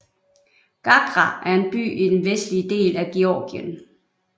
Gagra er en by i den vestlige del af Georgien